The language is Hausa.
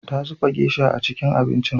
Ta zuba geisha a cikin abincin.